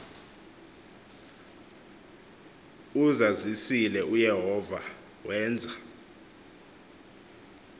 uzazisile uyehova wenza